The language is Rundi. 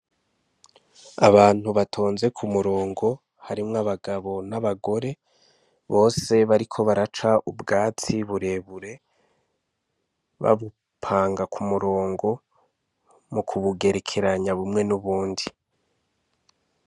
Abantu batonze ku murongo harimwo abagabo n'abagore bose bariko baraca ubwatsi burebure babupanga ku murongo mu kubugerekeranya bumwe n'ubundi.